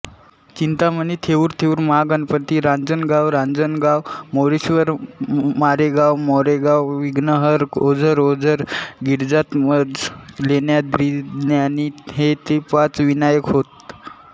चिंतामणी थेउरथेऊरमहागणपती रांजणगावरांजणगाव मोरेश्वर मोरगावमोरगाव विघ्नहर ओझरओझर गिरिजात्मज लेण्याद्रीलेण्याद्री हे ते पाच विनायक होत